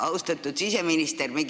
Austatud siseminister!